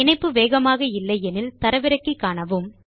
இணைப்பு வேகமாக இல்லை எனில் தரவிறக்கி காணலாம்